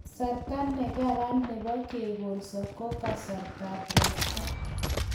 Kasarta ne karan nebo kekolso ko kasarta ab ropta